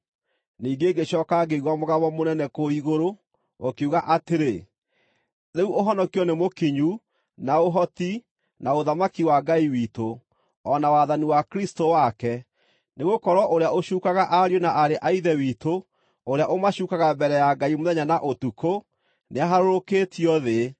Ningĩ ngĩcooka ngĩigua mũgambo mũnene kũu igũrũ, ũkiuga atĩrĩ: “Rĩu ũhonokio nĩ mũkinyu, na ũhoti, na ũthamaki wa Ngai witũ, o na wathani wa Kristũ wake. Nĩgũkorwo ũrĩa ũcuukaga ariũ na aarĩ a Ithe witũ, ũrĩa ũmacuukaga mbere ya Ngai mũthenya na ũtukũ, nĩaharũrũkĩtio thĩ.